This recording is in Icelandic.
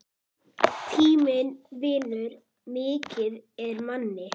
Tíminn vinnur mikið með manni.